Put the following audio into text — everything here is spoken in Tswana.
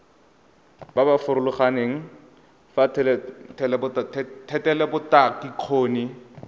ba ba farologaneng ba thetelelobokgoni